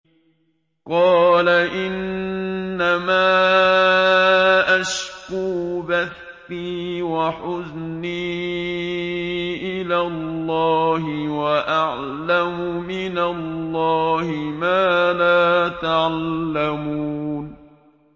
قَالَ إِنَّمَا أَشْكُو بَثِّي وَحُزْنِي إِلَى اللَّهِ وَأَعْلَمُ مِنَ اللَّهِ مَا لَا تَعْلَمُونَ